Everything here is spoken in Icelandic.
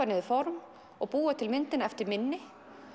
niður form og búa til myndina eftir minni